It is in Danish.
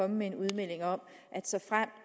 med en udmelding om